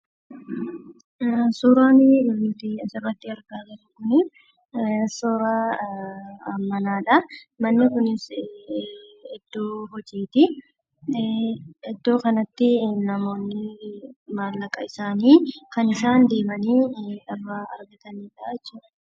Suuraan argamu kun suuraa manaati. Manni kunis iddo hojiiti, iddoon kunis namoonni deemanii kana isaan maallaqa irraa argataniidha.